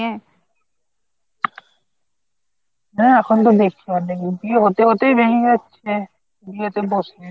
হ্যাঁ এখন তো বিয়ে হতে হতেই ভেঙে যাচ্ছে বিয়েতে বসে